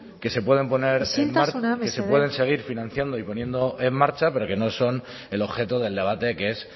que se puedan poner isiltasuna mesedez que se pueden seguir financiando y poniendo en marcha pero que no son el objeto del debate que es